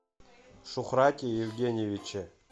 шухрате евгеньевиче